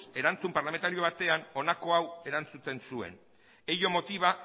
erantzun parlamentario batean honako hau erantzuten zuen ello motiva